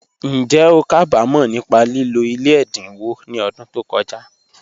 Njẹ́ o ká bá mọ̀ nípa lílò ilẹ̀ ẹ̀dáńwò ni ọ̀dún tó kọja?